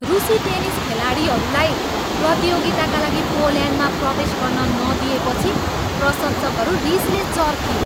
रुसी टेनिस खेलाडीलाई प्रतियोगिताका लागि पोल्यान्डमा प्रवेश गर्न नदिइएपछि प्रशंसकहरू रिसले चर्किए।